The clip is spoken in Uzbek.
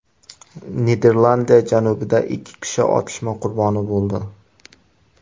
Niderlandiya janubida ikki kishi otishma qurboni bo‘ldi.